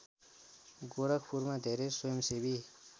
गोरखपुरमा धेरै स्वयंसेवी